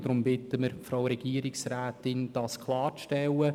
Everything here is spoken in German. Deshalb bitten wir die Frau Regierungsrätin, das klarzustellen.